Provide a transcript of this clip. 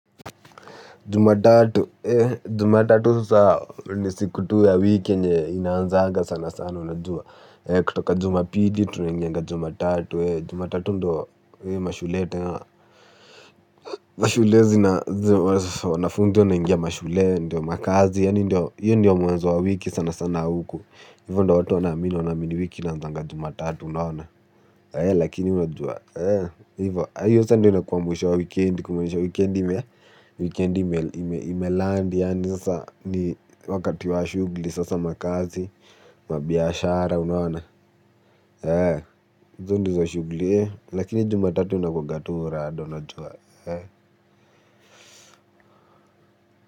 Jumatatu. Jumatatu ni siku tu ya wiki yenye inaanza sana sana unajua kutoka Jumapili tunaingia Jumatatu. Jumatatu ndiyo mashule zina wanafunzi wameingia shule ndio makazi yaani hiyo ndiyo mwanzo wa wiki sana sana huku. Hivyo ndivyo watu wanamini, wanamini wiki inaanza jumatatu unaona? Lakini unajua hivyo sasa inatukuambusha wikendi, kumaanisha wikendi imeland. Yaani sasa ni wakati wa shughuli sasa makazi wabiashara unaona? Hizo ndizo shughuli lakini Jumatatu inakuanga tu.